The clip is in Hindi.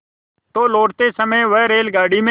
तो लौटते समय वह रेलगाडी में